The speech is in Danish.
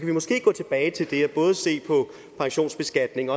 vi måske gå tilbage til det og både se på pensionsbeskatning